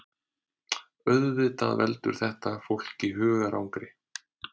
Auðvitað veldur þetta fólki hugarangri